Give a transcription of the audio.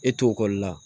E to ekɔli la